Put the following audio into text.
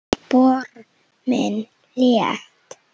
Spor mín létt.